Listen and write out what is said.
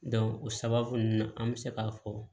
o sababu nunnu na an be se k'a fɔ